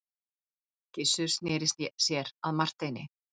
Gizur sneri sér að Marteini.